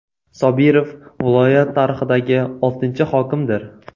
Sobirov viloyat tarixidagi oltinchi hokimdir.